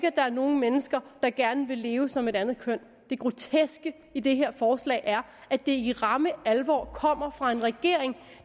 at der er nogle mennesker der gerne vil leve som et andet køn det groteske i det her forslag er at det i ramme alvor kommer fra en regering